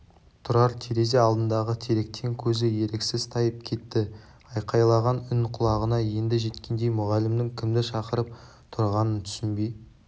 тұрар терезе алдындағы теректен көзі еріксіз тайып кетті айқайлаған үн құлағына енді жеткендей мұғалімнің кімді шақырып тұрғанын түсінбей